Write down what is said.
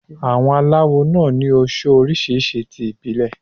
Àwọn aláwo náà ni oso oríṣiríṣi ti ìbílẹ̀.